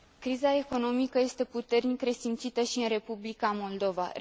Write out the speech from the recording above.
Criza economică este puternic resimțită și în Republica Moldova.